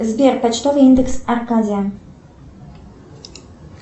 сбер почтовый индекс аркадия